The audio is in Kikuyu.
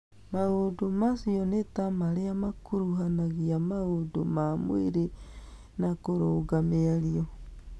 Maũndũ macio nĩta marĩa makuruhnagia maũndũ ma mwĩrĩ na kũrunga mĩario